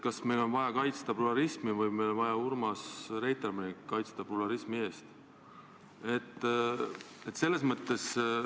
Kas meil on vaja kaitsta pluralismi või on meil vaja kaitsta Urmas Reitelmanni pluralismi eest?